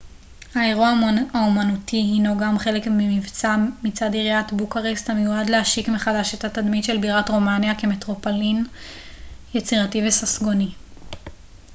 האירוע האמנותי הנו גם חלק ממבצע מצד עיריית בוקרשט המיועד להשיק מחדש את התדמית של בירת רומניה כמטרופולין יצירתי וססגוני